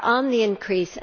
are on the increase.